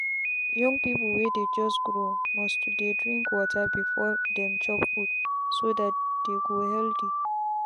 young people wey just dey grow must to dey drink water before dem chop foodso that they go healthy.